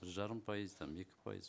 бір жарым пайыз там екі пайыз